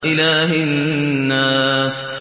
إِلَٰهِ النَّاسِ